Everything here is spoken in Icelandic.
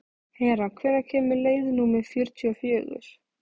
Hera, hvenær kemur leið númer fjörutíu og fjögur?